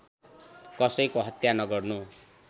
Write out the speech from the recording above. कसैको हत्या नगर्नु